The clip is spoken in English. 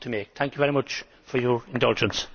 Thank you very much for your indulgence.